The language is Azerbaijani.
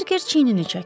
Berker çiynini çəkdi.